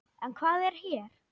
En hvað er hér?